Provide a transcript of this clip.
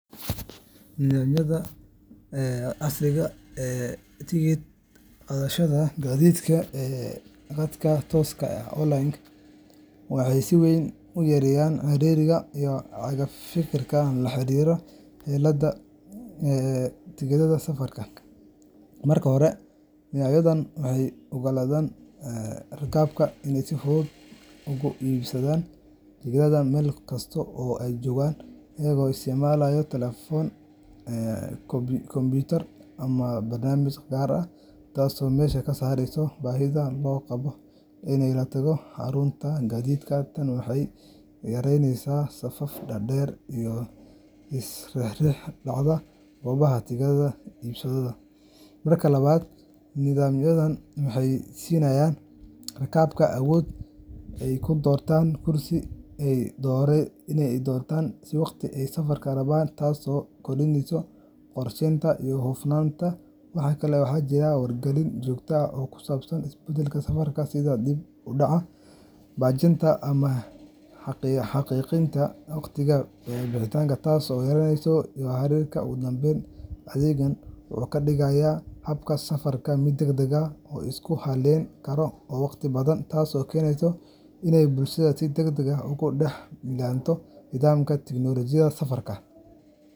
Nidaamyada casriga ah ee tigidh-qaadashada gaadiidka ee khadka tooska ah online waxay si weyn u yareeyaan ciriiriga iyo caga-firka la xiriira helidda tigidhada safarka. Marka hore, nidaamyadani waxay u oggolaanayaan rakaabka inay si fudud uga iibsadaan tigidhada meel kasta oo ay joogaan iyagoo isticmaalaya taleefan, kombiyuutar, ama barnaamijyo gaar ah, taasoo meesha ka saareysa baahida loo qabo in la tago xarunta gaadiidka. Tani waxay yaraynaysaa safaf dhaadheer iyo is-riix-riix dhacda goobaha tigidhada laga iibsado. Marka labaad, nidaamyadaas waxay siinayaan rakaabka awood ay ku doortaan kursiga ay doonayaan iyo waqtiga ay safarka rabaan, taasoo kordhisa qorsheynta iyo hufnaanta. Waxa kale oo jira wargelin joogto ah oo ku saabsan isbeddellada safarka sida dib u dhaca, baajinta, ama xaqiijinta waqtiga bixitaanka, taas oo yareynaysa jahawareerka. Ugu dambayn, adeeggan wuxuu ka dhigaa habka safarka mid degdeg ah, la isku halleyn karo, oo waqti badbaadiya, taasoo keentay in bulshadu si degdeg ah ugu dhex milanto nidaamyada tiknoolajiyadda safarka.